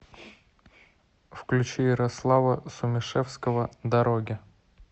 включи ярослава сумишевского дороги